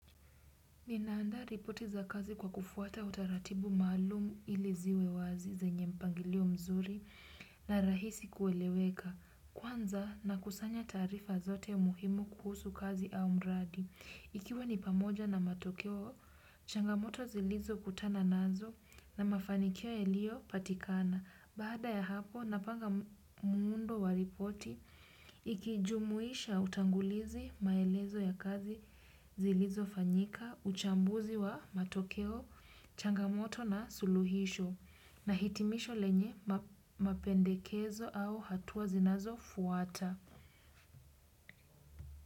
Ninaandaa ripoti za kazi kwa kufuata utaratibu maalumu ili ziwe wazi zenye mpangilio mzuri na rahisi kueleweka. Kwanza nakusanya taarifa zote muhimu kuhusu kazi au mradi. Ikiwa ni pamoja na matokeo, changamoto zilizo kutana nazo na mafanikio yaliopatikana. Baada ya hapo napanga muundo wa ripoti ikijumuisha utangulizi maelezo ya kazi zilizofanyika, uchambuzi wa matokeo, changamoto na suluhisho na hitimisho lenye mapendekezo au hatua zinazo fuata.